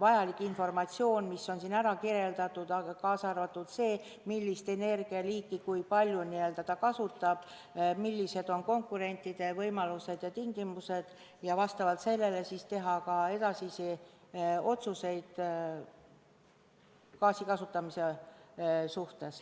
vajalik informatsioon, mida siin on kirjeldatud, kaasa arvatud see, millist energialiiki ja kui palju ta kasutab, millised on konkurentide võimalused ja tingimused, ja vastavalt sellele saab teha ka edasisi otsuseid gaasi kasutamise kohta.